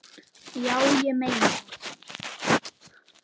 Já, ég meina það.